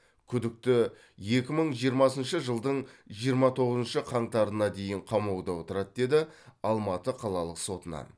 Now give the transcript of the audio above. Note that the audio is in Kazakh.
күдікті екі мың жиырмасыншы жылдың жиырма тоғызыншы қаңтарына дейін қамауда отырады деді алматы қалалық сотынан